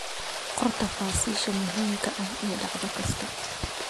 Qor tafaasiisha muhiimka ah ee dhacdo kasta.